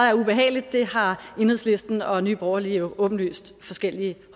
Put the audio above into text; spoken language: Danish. er ubehageligt har enhedslisten og nye borgerlige åbenlyst forskellige